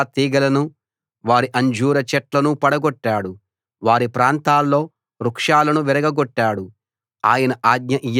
వారి ద్రాక్షతీగెలను వారి అంజూరు చెట్లను పడగొట్టాడు వారి ప్రాంతాల్లో వృక్షాలను విరగగొట్టాడు